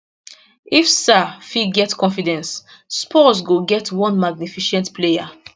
if sarr fit get confidence spurs go get one magnificent player